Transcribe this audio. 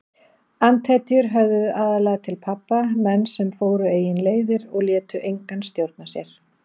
Andhetjur höfðuðu aðallega til pabba, menn sem fóru eigin leiðir og létu engan stjórna sér.